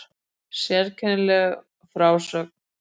Sérkennileg frásögn